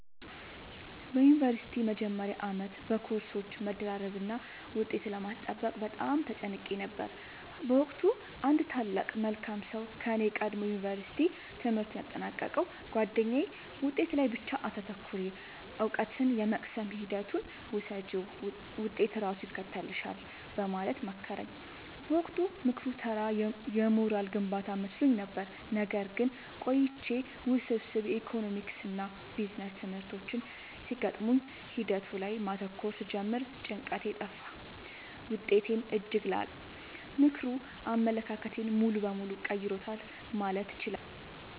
በዩኒቨርሲቲ መጀመሪያ ዓመት በኮርሶች መደራረብና ውጤት ለማስጠበቅ በጣም ተጨንቄ ነበር። በወቅቱ አንድ ታላቅ መልካም ሰው ከኔ ቀድሞ የዩንቨርስቲ ትምህርቱን ያጠናቀቀው ጉአደኛዬ «ውጤት ላይ ብቻ አታተኩሪ: እውቀትን የመቅሰም ሂደቱን ውደጂው፣ ውጤት ራሱ ይከተልሻል» በማለት መከረኝ። በወቅቱ ምክሩ ተራ የሞራል ግንባታ መስሎኝ ነበር። ነገር ግን ቆይቼ ውስብስብ የኢኮኖሚክስና ቢዝነስ ትምህርቶች ሲገጥሙኝ ሂደቱ ላይ ማተኮር ስጀምር ጭንቀቴ ጠፋ: ውጤቴም እጅግ ላቀ። ምክሩ አመለካከቴን ሙሉ በሙሉ ቀይሮታል ማለት እችላለሁ።